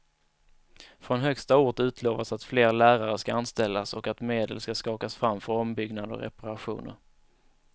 Från högsta ort utlovas att fler lärare ska anställas och att medel ska skakas fram för ombyggnader och reparationer.